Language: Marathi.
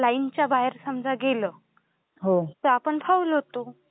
लाईन च्या बाहेर समजा गेलं तर आपण फाऊल होतो